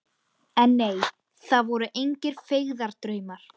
En nei, það voru engir feigðardraumar.